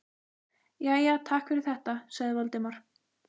Jæja, takk fyrir þetta- sagði Valdimar.